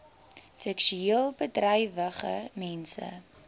seksueel bedrywige mense